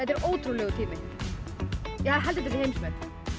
er ótrúlegur tími ég held þetta sé heimsmet